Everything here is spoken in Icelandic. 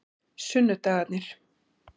sunnudagarnir